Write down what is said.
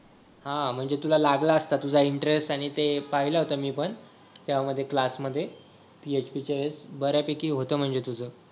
हा म्हणजे तुला लागला असता तुझा इंटरेस्ट आणि ते पाहिलं होतं मी पण त्यामध्ये क्लास मध्ये PHP च्या बऱ्यापैकी होतं म्हणजे तुझं